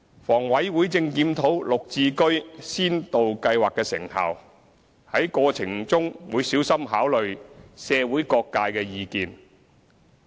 房委會正檢討"綠置居"先導計劃的成效，在過程中會小心考慮社會各界的意見。